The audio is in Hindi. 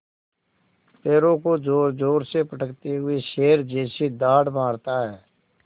पैरों को ज़ोरज़ोर से पटकते हुए शेर जैसी दहाड़ मारता है